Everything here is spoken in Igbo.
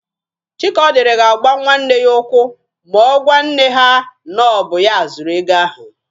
Chikaọdịrị ga-agba nwanne ya ụkwụ ma ọ gwa nne ha na ọ bụ ya zuru ego ahụ.